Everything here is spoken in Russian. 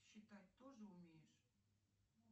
считать тоже умеешь